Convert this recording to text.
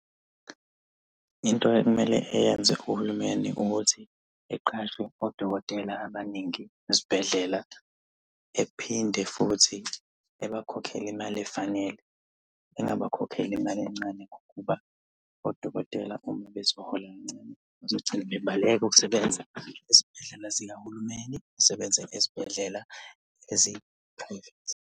Into ekumele eyenze uhulumeni ukuthi eqashe odokotela abaningi esibhedlela. Ephinde futhi abakhokhele imali efanele. Engabakhokheli imali encane ngokuba odokotela uma bezohola kancane, bazogcina bebaleka ukusebenza ezibhedlela zikahulumeni basebenze ezibhedlela ezi-private.